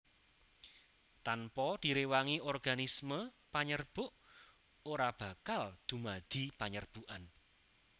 Tanpa direwangi organisme panyerbuk ora bakal dumadi panyerbukan